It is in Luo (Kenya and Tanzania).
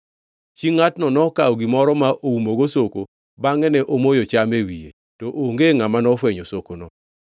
Chi ngʼatno nokawo gimoro ma oumogo soko bangʼe ne omoyo cham e wiye. To onge ngʼama nofwenyo sokono.